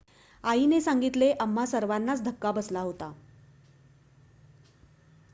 "आईने सांगितले "आम्हा सर्वांनाच धक्का बसला होता.""